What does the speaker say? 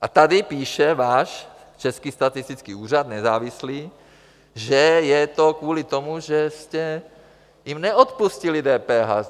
A tady píše váš Český statistický úřad, nezávislý, že je to kvůli tomu, že jste jim neodpustili DPH.